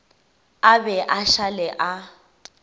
a be a šale a